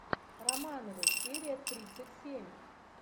романовы серия тридцать семь